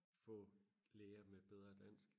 få læger med bedre dansk